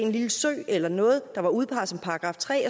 lille sø eller noget der var udpeget som § tre